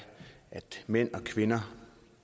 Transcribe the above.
at mænd og kvinder